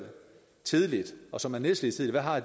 tidligt og som er nedslidt tidligt har